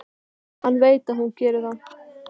Hann veit að hún gerir það.